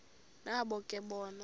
nabo ke bona